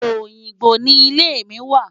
Oyingbo ni ilé mi wà.